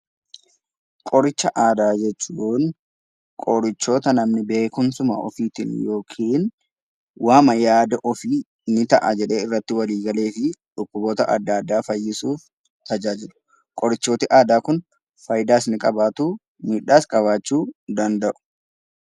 Qoricha Aadaa jechuun qorichoota namni beekumsuma ofiitiin yookiin waanuma yaada ofiitiin hin ta'a jedhee walii galee fi dhukkuboota adda addaa fayyisuuf ni ta’a jedhee irratti walii galee fi dhukkuboota adda addaa fayyisuuf tajaajilu. Qorichoonni aadaa kun faayidaas ni qabaatu; miidhaas qabaachuu ni danda’u.